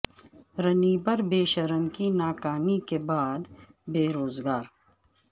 رنیبر بے شرم کی ناکامی کے بعد بے روزگار